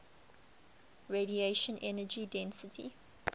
radiation energy density